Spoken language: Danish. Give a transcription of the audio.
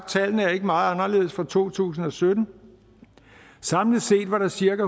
tallene ikke meget anderledes for to tusind og sytten samlet set var der cirka